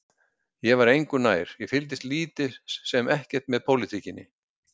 Ég var engu nær, ég fylgdist lítið sem ekkert með pólitíkinni.